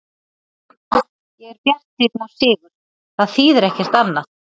Ég er bjartsýnn á sigur, það þýðir ekkert annað.